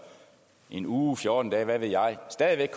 en uge eller fjorten dage hvad ved jeg stadig væk